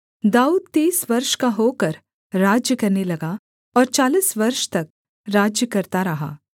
दाऊद तीस वर्ष का होकर राज्य करने लगा और चालीस वर्ष तक राज्य करता रहा